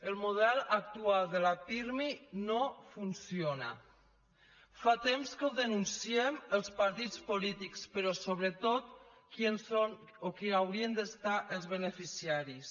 el model actual de la pirmi no funciona fa temps que ho denunciem els partits polítics però sobretot qui en són o qui n’haurien de ser els beneficiaris